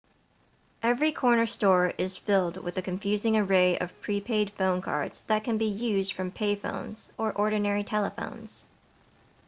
every corner store is filled with a confusing array of pre-paid phone cards that can be used from pay phones or ordinary telephones